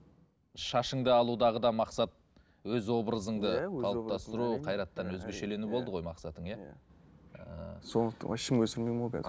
шашыңды алудағы да мақсат өз образыңды қайраттан өзгешелену болды ғой мақсатың иә ііі сондықтан вообще өсірмеймін ғой қазір